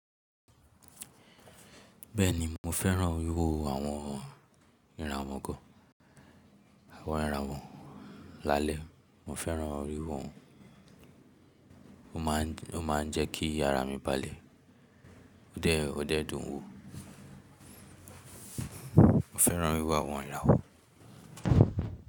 Bẹ́ẹ̀ni, mo fẹ́ràn wíwo àwọn ìràwọ́ gan. Àwọn ìràwọ̀ lálẹ́, mo fẹ́ràn wíwò wọ́n ó máà ń jẹ́ kí ara mí balẹ̀. Ó dẹ́ẹ̀, ó dẹ́ẹ̀ dùn ún wo. Mo fẹ́ràn wíwò àwọn ìràwọ̀.